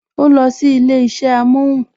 O losi ilé isẹ amohun